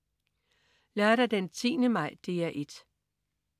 Lørdag den 10. maj - DR 1: